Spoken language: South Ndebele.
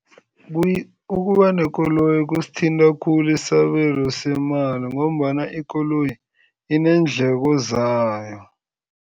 Ukuba nekoloyi kusithinta khulu isabelo semali ngombana ikoloyi ineendleko zayo.